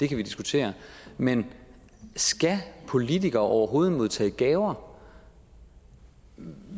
kan vi diskutere men skal politikere overhovedet modtage gaver